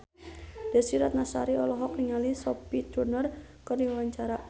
Desy Ratnasari olohok ningali Sophie Turner keur diwawancara